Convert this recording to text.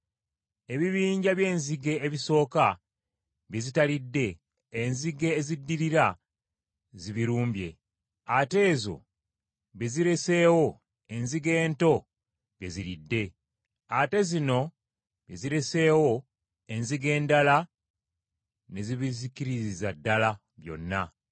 Ebibinja by’enzige ebisooka bye zitalidde, enzige eziddirira zibirumbye, ate ezo bye zireseewo, enzige ento bye ziridde, ate zino bye zireseewo, enzige endala ne zibizikiririza ddala byonna!